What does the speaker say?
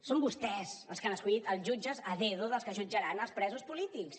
són vostès els que han escollit els jutges a dedo dels que jutjaran els presos polítics